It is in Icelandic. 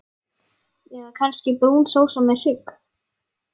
Eða kannski brún sósa með hrygg?